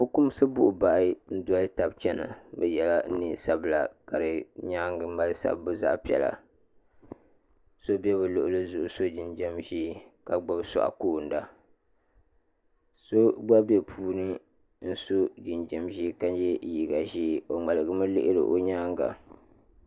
Fukumsi buɣubahi n doli taba n chena bɛ yela niɛn'sabila ka di nyaanga mali sabbu zaɣa piɛla so be bɛ luɣili zuɣu so jinjiɛm ʒee ka gbibi suaɣu koona so gba be puuni ka so jinjiɛm ʒee ka ye liiga ʒee o ŋmaligi lihina o nyaanga.